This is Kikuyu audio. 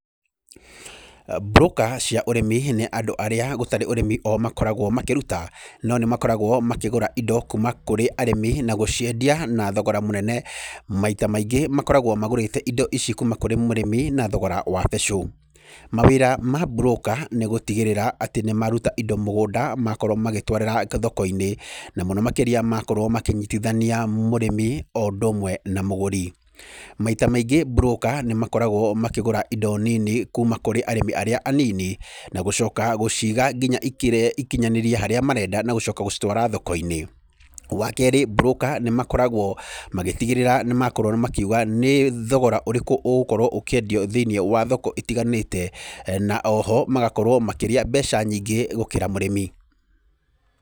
Mburũka cĩa ũrĩmi nĩ andũ arĩa gũtarĩ ũrĩmi o makoragwo makĩruta no nĩmaakoragwo makĩgũra indo kuma kũrĩ arĩmi na gũciendia na thogora mũnene. Maita maingĩ makoragwo magũrĩte indo ici kuma kũrĩ mũrĩmi na thogora wa becũ. Mawĩra ma mburũka nĩ gũtigĩrĩra atĩ nĩmaruta indo mũgũnda makorwo magĩtwara thokoinĩ na mũno makĩria makorwo makĩnyitithania mũrĩmi o ũndũmwe na mũgũri. Maita maingĩ mburũka nĩmakoragwo makĩgũra indo nini kuma kũrĩ arĩmi arĩa anini na gũcoka gũciga nginya ikinyanĩrie harĩa marenda na gũcoka gũcitwara thokoinĩ. Wakerĩ mburũka nĩmakoragwo magĩtigĩrĩra nĩmakorwo makiuga nĩ thogora ũrĩkũ ũgũkorwo ũkĩendio thĩinĩ wa thoko itiganĩte na oho magakorwo makĩrĩa mbeca nyingĩ gũkĩra mũrĩmi.